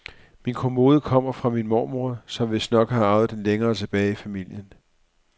Min kommode kommer fra min mormor, som vistnok har arvet den længere tilbage i familien.